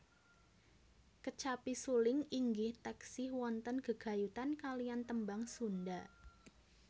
Kecapi suling inggih taksih wonten gegayutan kaliyan tembang Sunda